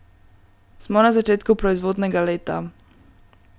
Smo na začetku proizvodnega leta.